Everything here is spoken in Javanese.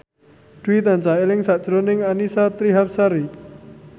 Dwi tansah eling sakjroning Annisa Trihapsari